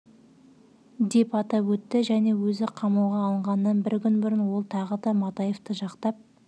деп атап өтті және өзі қамауға алынғаннан бір күн бұрын ол тағы да матаевты жақтап